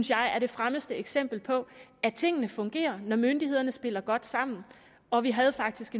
det her er det fremmeste eksempel på at tingene fungerer når myndighederne spiller godt sammen og vi har faktisk